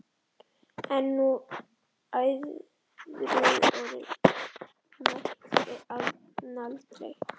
En æðruorð mælti hann aldrei.